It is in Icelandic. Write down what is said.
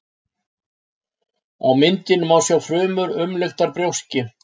á myndinni má sjá frumur umluktar brjóski